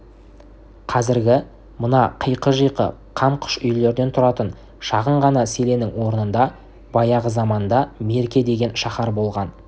қазіргі мына қиқы-жиқы қам қыш үйлерден тұратын шағын ғана селеннің орнында баяғы заманда мерке деген шаһар болған